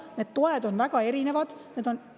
Need toed on väga erinevad, need on …